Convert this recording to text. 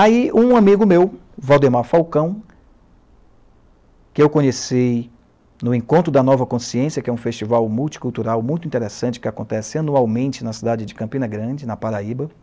Aí, um amigo meu, Waldemar Falcão, que eu conheci no Encontro da Nova Consciência, que é um festival multicultural muito interessante, que acontece anualmente na cidade de Campina Grande, na Paraíba